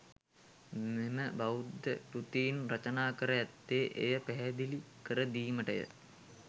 මෙම බෞද්ධ කෘතීන් රචනා කර ඇත්තේ එය පැහැදිලි කර දීමටය.